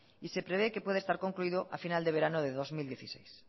y se prevé que pueda estar concluido a final de verano de dos mil dieciséis